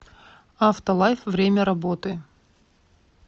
авто лайф время работы